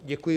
Děkuji.